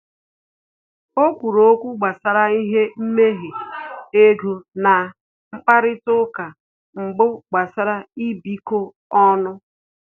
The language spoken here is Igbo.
O kwuru okwu gbasara ihe mmehe ego na mkparịta uka mbụ gbasara ịbikọ ọnụ